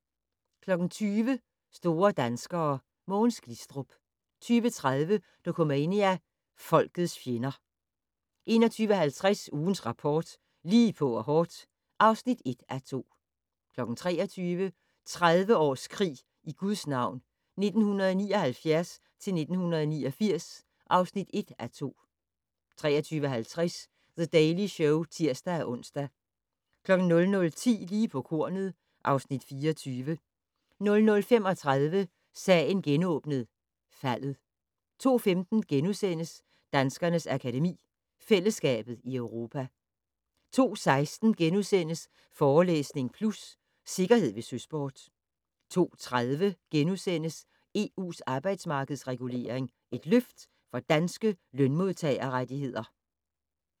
20:00: Store danskere: Mogens Glistrup 20:30: Dokumania: Folkets fjender 21:50: Ugens Rapport: Lige på og hårdt (1:2) 23:00: 30 års krig i Guds navn - 1979-1989 (1:2) 23:50: The Daily Show (tir-ons) 00:10: Lige på kornet (Afs. 24) 00:35: Sagen genåbnet: Faldet 02:15: Danskernes Akademi: Fællesskabet i Europa * 02:16: Forelæsning Plus - Sikkerhed ved søsport * 02:30: EU's arbejdsmarkedsregulering - et løft for danske lønmodtagerrettigheder? *